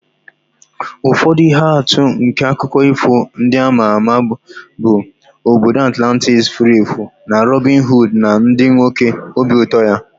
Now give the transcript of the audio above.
Ụfọdụ ihe atụ nke akụkọ ifo ndị a ma ama bụ obodo Atlantis furu efu na Robin Hood na ndị nwoke obi ụtọ ya.